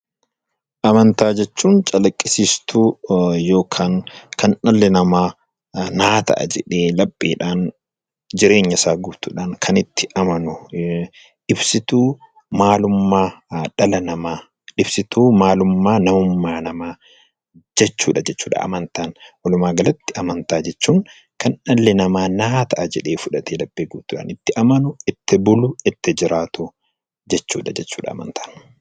Amantaa jechuun calaqqisiistuu yookiin kan dhalli namaa naaf ta'a jedhee lapheedhaan jireenya isaa guutuudhaan kan itti amanu. Ibsituu maalummaa dhala namaa jechuudha. Walumaa galatti amantaa jechuun kan namni naaf ta'a jedhe amanee fudhateedha. Kan itti amanu, boonuu fi itti jiraatu jechuudha.